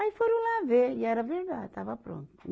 Aí foram lá ver, e era verdade, estava pronta.